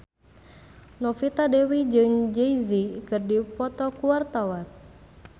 Novita Dewi jeung Jay Z keur dipoto ku wartawan